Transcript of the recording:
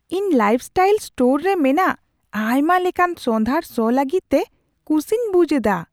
ᱤᱧ lifestyle store ᱨᱮ ᱢᱮᱱᱟᱜ ᱟᱭᱢᱟ ᱞᱮᱠᱟᱱ ᱥᱚᱸᱫᱷᱟᱲ ᱥᱚ ᱞᱟᱹᱜᱤᱫᱛᱮ ᱠᱩᱥᱤᱧ ᱵᱩᱡᱷ ᱮᱫᱟ ᱾